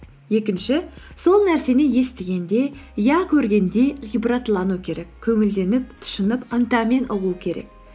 екінші сол нәрсені естігенде я көргенде ғибратлану керек көңілденіп тұшынып ынтамен ұғу керек